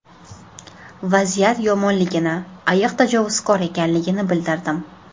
Vaziyat yomonligini, ayiq tajovuzkor ekanligini bildirdim.